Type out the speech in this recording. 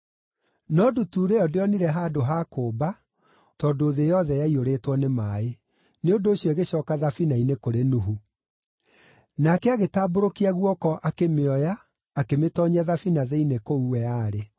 No ndutura ĩyo ndĩonire handũ ha kũũmba tondũ thĩ yothe yaiyũrĩtwo nĩ maaĩ; nĩ ũndũ ũcio ĩgĩcooka thabina-inĩ kũrĩ Nuhu. Nake agĩtambũrũkia guoko akĩmĩoya, akĩmĩtoonyia thabina thĩinĩ kũu we aarĩ.